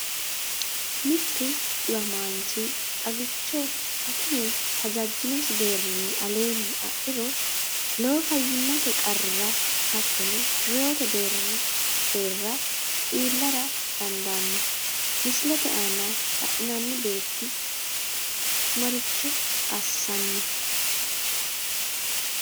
Mittu dhiwamaanchi xagicho akime hajajjinosi deerrinni aleenni adhiro, lowo fayyimmate qarrira hattono reewote deerra iillara dan daanno, Misile aana la’inanni beetti maricho assanni?